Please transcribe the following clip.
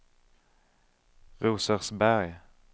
Rosersberg